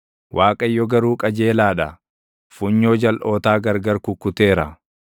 Waaqayyo garuu qajeelaa dha; funyoo jalʼootaa gargar kukkuteera.”